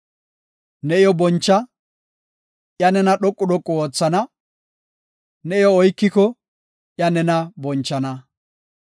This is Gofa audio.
Ne iyo boncha; iya nena dhoqu dhoqu oothana; ne iyo oykiko, iya nena bonchana.